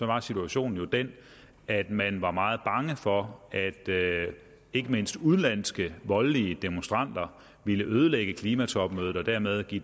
var situationen jo den at man var meget bange for at ikke mindst udenlandske voldelige demonstranter vil ødelægge klimatopmødet og dermed give